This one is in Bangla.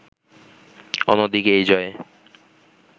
অন্যদিকে এই জয়ে